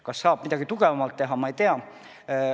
Kas saab midagi tugevamalt teha, ma ei tea.